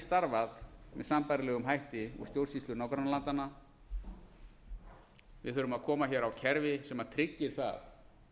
starfað með sambærilegum hætti og stjórnsýsla nágrannalandanna við þurfum að koma á kerfi sem tryggir það